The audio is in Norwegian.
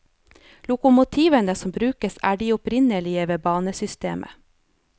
Lokomotivene som brukes er de opprinnelige ved banesystemet.